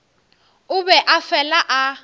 o be a fela a